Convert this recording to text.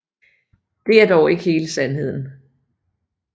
Det er dog ikke hele sandheden